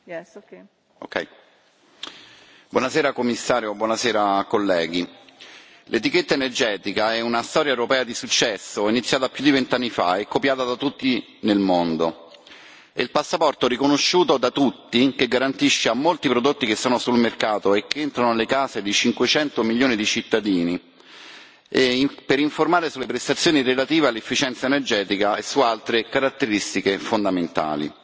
Signora Presidente, onorevoli colleghi, signor Commissario, l'etichetta energetica è una storia europea di successo, iniziata più di vent'anni fa e copiata da tutti nel mondo. È il passaporto riconosciuto da tutti, che garantisce a molti prodotti che sono sul mercato e che entrano nelle case di 500 milioni di cittadini, per informare sulle prestazioni relative all'efficienza energetica e su altre caratteristiche fondamentali.